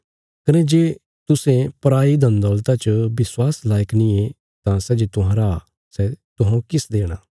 कने जे तुसें पराई धन दौलता च विश्वास लायक नींये तां सै जे तुहांरा सै तुहौं किस देणा